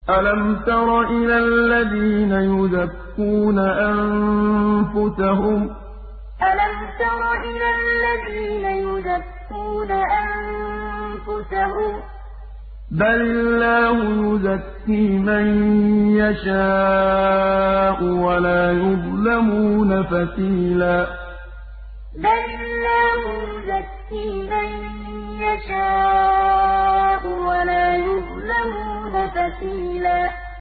أَلَمْ تَرَ إِلَى الَّذِينَ يُزَكُّونَ أَنفُسَهُم ۚ بَلِ اللَّهُ يُزَكِّي مَن يَشَاءُ وَلَا يُظْلَمُونَ فَتِيلًا أَلَمْ تَرَ إِلَى الَّذِينَ يُزَكُّونَ أَنفُسَهُم ۚ بَلِ اللَّهُ يُزَكِّي مَن يَشَاءُ وَلَا يُظْلَمُونَ فَتِيلًا